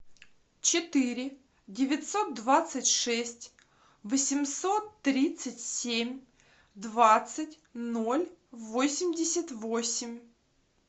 четыре девятьсот двадцать шесть восемьсот тридцать семь двадцать ноль восемьдесят восемь